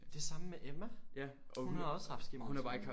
Det samme med Emma! Hun har også haft skimmelsvamp